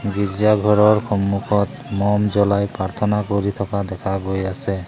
গীৰ্জা ঘৰৰ সন্মুখত মম জ্বলাই প্ৰাৰ্থনা কৰি থকা দেখা গৈ আছে।